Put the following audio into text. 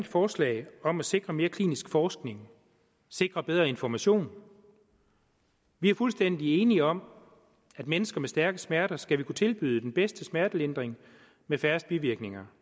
forslag om at sikre mere klinisk forskning og sikre bedre information vi er fuldstændig enige om at mennesker med stærke smerter skal vi kunne tilbyde den bedste smertelindring med færrest bivirkninger